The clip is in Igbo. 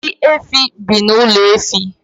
Ndi efe bi n’ụlọ efe